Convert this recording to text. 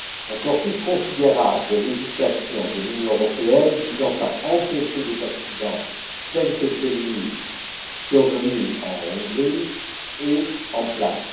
Un corpus considérable de législation de l'Union européenne visant à empêcher des accidents tels que celui survenu en Hongrie est en place.